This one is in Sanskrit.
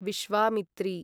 विश्वामित्री